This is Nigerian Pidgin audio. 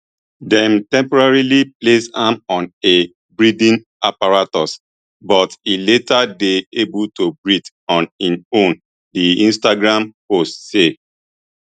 dem temporarily place am on a breathing apparatus but e later dey able to breathe on im own di instagram post say